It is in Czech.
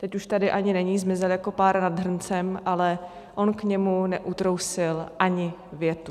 Teď už tady ani není, zmizel jako pára nad hrncem, ale on k němu neutrousil ani větu.